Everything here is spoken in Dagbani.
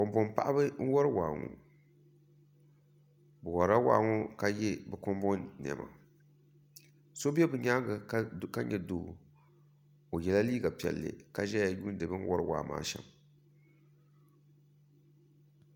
Kanboŋ paɣaba n wori waa ŋɔ bi worila waa ŋɔ ka yɛ kanboŋ niɛma so bɛ bi nyaanga ka nyɛ doo o yɛla liiga piɛlli ka ʒɛya yuundi bi ni wori waa maa shɛm